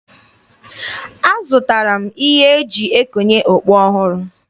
Azụtara m ihe e ji ekonye okpu ọhụrụ.